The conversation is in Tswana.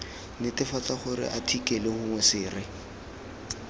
netefatsa gore athikele gongwe sere